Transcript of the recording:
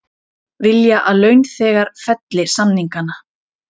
Vilja að launþegar felli samningana